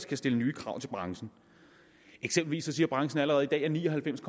kan stille nye krav til branchen eksempelvis siger branchen allerede i dag at ni og halvfems